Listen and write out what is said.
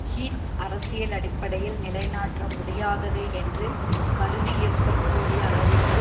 Heath அரசியல் அடிப்படையில் நிலை நாட்ட முடியாதது என்று கருதியிருக்கக் கூடிய அளவிற்கு